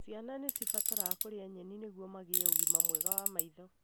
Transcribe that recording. Ciana nĩ cibataraga kũria nyeni nĩguo magĩe ũgima mwega wa maitho.